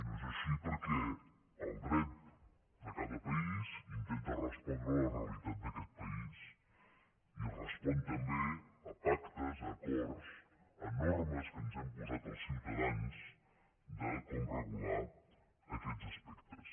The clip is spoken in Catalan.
i no és així perquè el dret de cada país intenta respondre a la realitat d’aquest país i respon també a pactes a acords a normes que ens hem posat els ciutadans de com regular aquests aspectes